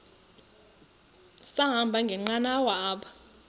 sahamba ngenqanawa apha